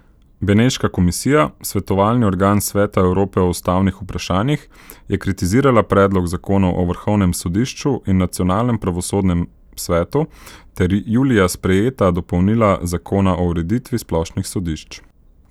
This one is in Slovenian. Beneška komisija, svetovalni organ Sveta Evrope o ustavnih vprašanjih, je kritizirala predlog zakonov o vrhovnem sodišču in nacionalnem pravosodnem svetu ter julija sprejeta dopolnila zakona o ureditvi splošnih sodišč.